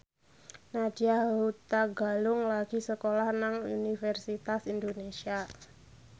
Nadya Hutagalung lagi sekolah nang Universitas Indonesia